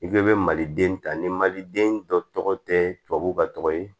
I k'i bɛ maliden ta ni maliden dɔ tɔgɔ tɛ tubabu ka tɔgɔ ye